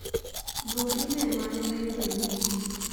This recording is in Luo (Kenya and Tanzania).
Duok imel mane ayudo mogik.